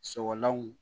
Sɔgɔlanw